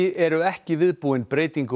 eru ekki viðbúin breytingu